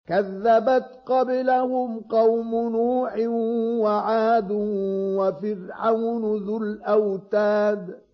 كَذَّبَتْ قَبْلَهُمْ قَوْمُ نُوحٍ وَعَادٌ وَفِرْعَوْنُ ذُو الْأَوْتَادِ